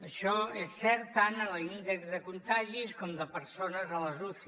això és cert tant en l’índex de contagis com de persones a les uci